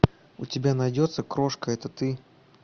у тебя найдется крошка это ты